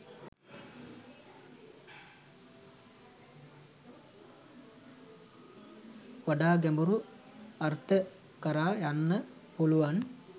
වඩා ගැඹුරු අර්ථ කරා යන්න පුළුවන්